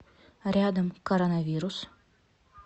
рядом коронавирус